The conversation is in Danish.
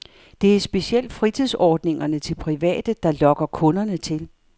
Det er specielt fritidsordningerne til private, der lokker kunderne til.